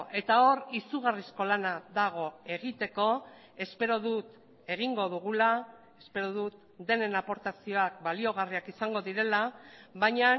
eta hor izugarrizko lana dago egiteko espero dut egingo dugula espero dut denen aportazioak baliogarriak izango direla baina